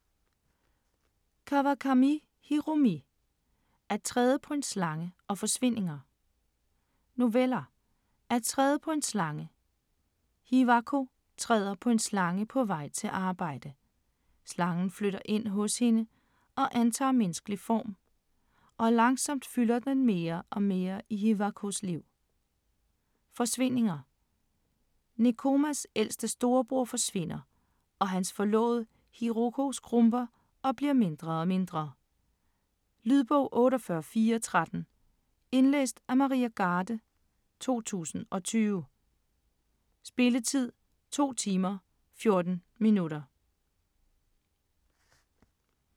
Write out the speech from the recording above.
Kawakami, Hiromi: At træde på en slange & Forsvindinger Noveller." At træde på en slange": Hiwako træder på en slange på vej til arbejde. Slangen flytter ind hos hende og antager menneskelig form, og langsomt fylder den mere og mere i Hiwakos liv. "Forsvindinger": Nekomas ældste storebror forsvinder og hans forlovede, Hiroko, skrumper og bliver mindre og mindre. Lydbog 48413 Indlæst af Maria Garde, 2020. Spilletid: 2 timer, 14 minutter.